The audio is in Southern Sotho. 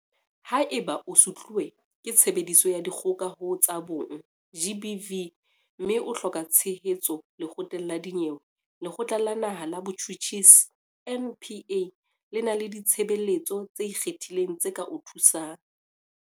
Haeba o sutluwe ke Tshebediso ya Dikgoka ho tsa Bong, GBV, mme o hloka tshehetso lekgotleng la dinyewe, Lekgotla la Naha la Botjhutjhisi, NPA, le na le ditshebeletso tse ikgethileng tse ka o thusang.